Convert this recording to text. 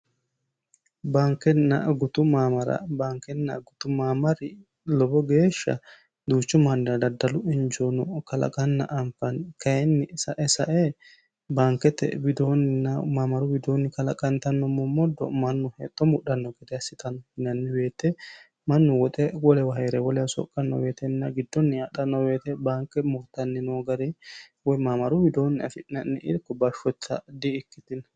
Baankenna gutu mamaara, baankenna gutu mamaari lowo geeshsha duuchu mannira daddallu injono kalaqana anfanni kayinni sae sae baanketenna maamaru widooni kalaqantano momodo mannu hexxo mudhano gede assittano, yinanni woyte mannu woxe wolewa heere soqanonna giddoni adhano woyte baanke mudhitani noo gari woyi maamaru widooni affi'nanni hee'nonni irko bashotta di"ikkitino.